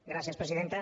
gràcies presidenta